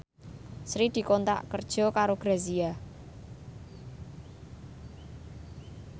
Sri dikontrak kerja karo Grazia